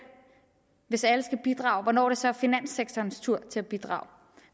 hvis alle skulle bidrage hvornår det så er finanssektorens tur til at bidrage